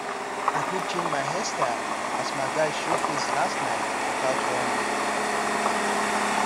i quick change my hair style as my guys show face last night without warning